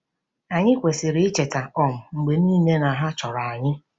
Anyị kwesịrị icheta um mgbe niile na ha chọrọ anyị.